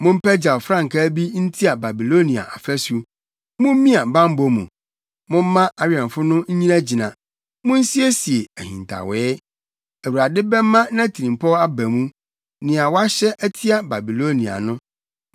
Mompagyaw frankaa bi ntia Babilonia afasu! Mummia bammɔ mu, momma awɛmfo no nnyinagyina. Munsiesie ahintawee! Awurade bɛma nʼatirimpɔw aba mu, nea wahyɛ atia Babilonia no.